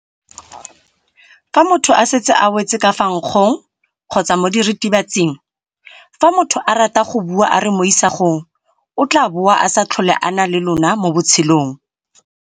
l Fa motho a setse a wetse ka fa nkgong kgotsa mo diritibatsing.l Fa motho a rata go bua a re mo isagong o tla bo a sa tlhole a na le lona mo botshelong.